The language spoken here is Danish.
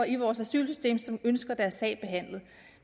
i vores asylsystem som ønsker deres sag behandlet